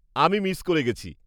- আমি মিস করে গেছি।